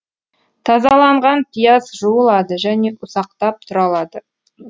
тазаланған пияз жуылады және ұсақтап тұралады